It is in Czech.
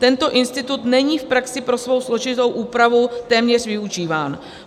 Tento institut není v praxi pro svou složitou úpravu téměř využíván.